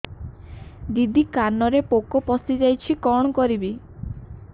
ଦିଦି କାନରେ ପୋକ ପଶିଯାଇଛି କଣ କରିଵି